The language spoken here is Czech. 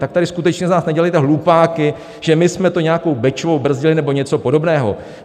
Tak tady skutečně z nás nedělejte hlupáky, že my jsme to nějakou Bečvou brzdili nebo něco podobného.